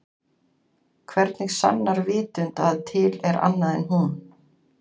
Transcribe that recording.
Hvernig sannar vitund að til er annað en hún?